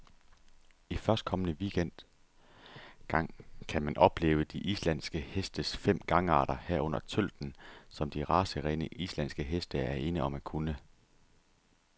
I førstkommende weekend gang kan man opleve de islandske hestes fem gangarter, herunder tølten, som de racerene, islandske heste er ene om at kunne.